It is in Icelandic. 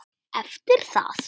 Eftir það